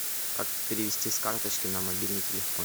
как перевести с карточки на мобильный телефон